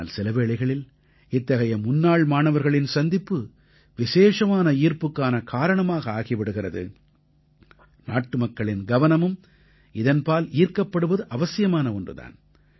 ஆனால் சில வேளைகளில் இத்தகைய முன்னாள் மாணவர்களின் சந்திப்பு விசேஷமான ஈர்ப்புக்கான காரணமாக ஆகி விடுகிறது நாட்டுமக்களின் கவனமும் இதன்பால் ஈர்க்கப்படுவது அவசியமான ஒன்று தான்